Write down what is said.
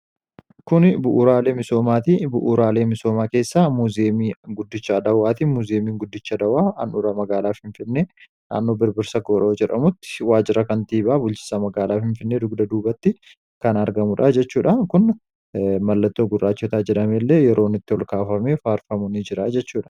kuni buuraalee misoomaati ,bu'uuraalee misoomaa keessaa muzeemii guddicha adawwaatii muzeemiin guddicha adawaa andhura magaalaa f infinne dhaannoo birbirsa koroo jedhamutti waajira kan tiibaa bulchisa magaalaaf infinnee dugda duubatti kan argamudha jechuudha kun mallattoo gurraachotaa jedhame illee yeroonitti holkaafamee faarfamuu ni jira jechuudha